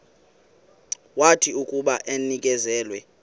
wathi akuba enikezelwe